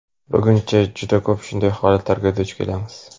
Bugungacha juda ko‘p shunday holatlarga duch kelamiz.